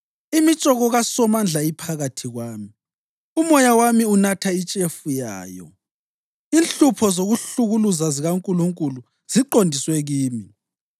Imitshoko kaSomandla iphakathi kwami, umoya wami unatha itshefu yayo; inhlupho zokuhlukuluza zikaNkulunkulu ziqondiswe kimi.